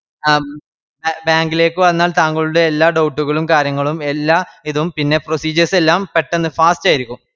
ആഹ് bank ലേക്ക് വന്നാൽ താങ്കളുടെ എല്ലാ doubt കളും കര്യങ്ങളും എല്ലാ ഇതും പിന്നെ procedures എല്ലാം പെട്ടന്ന് fast ആരിക്കും